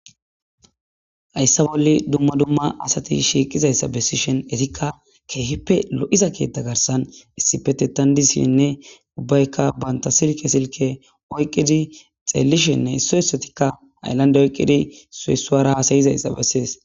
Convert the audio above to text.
Hayssa bolla dumma dumma asati shiiqqizayssa besishin izikka keehippe lo'iza ketta garssan issippe loidi dishinne uibbaykka bantta Silke oyqidi xellishenne issoy issottikka hayllande oyqidi issoy issuwara hasayozayssa beses